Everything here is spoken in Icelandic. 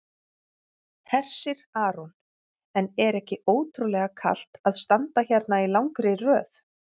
Hersir Aron: En er ekki ótrúlega kalt að standa hérna í langri röð?